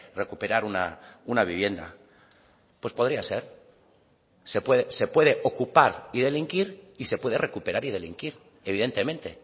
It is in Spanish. recuperar una vivienda pues podría ser se puede ocupar y delinquir y se puede recuperar y delinquir evidentemente